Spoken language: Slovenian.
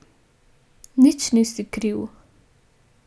Nič nisi kriv.